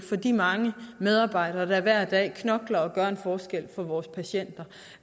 for de mange medarbejdere der hver dag knokler og gør en forskel for vores patienter